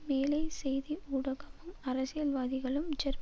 மேலை செய்தி ஊடகமும் அரசியல்வாதிகளும் ஜெர்மன்